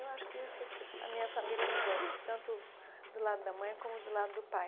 Eu acho que isso a minha família me deu, tanto do lado da mãe como o do lado do pai.